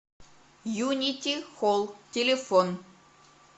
юнити хол телефон